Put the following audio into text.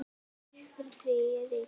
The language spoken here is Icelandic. Fyrir því er rík hefð.